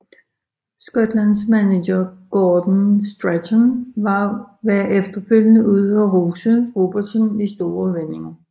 Skotlands manager Gordon Strachan var efterfølgende ude og rose Robertson i store vendinger